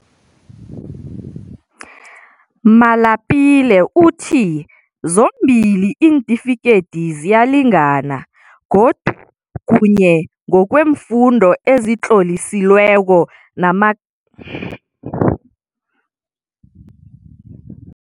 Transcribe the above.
Malapile uthi zombili iintifikedezi ziyalingana, godu, kuye ngokweemfundo ezitloliselweko namamaksi afunyenweko, zingasetjenziswa ukwenza iimbawo zokufunda emayunivesithi nemakholiji.